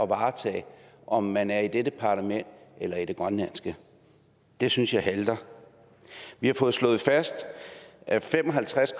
varetage om man er i dette parlament eller i det grønlandske det synes jeg halter vi har fået slået fast at fem og halvtreds